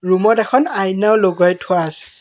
Room ত এখন আইনাও লগাই থোৱা আছে।